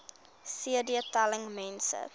cd telling mense